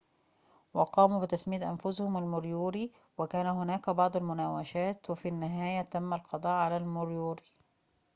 وقاموا بتسمية أنفسهم الموريوري وكان هناك بعض المناوشات وفي النهاية تم القضاء على الموريوري